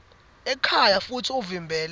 ekhaya futsi uvimbele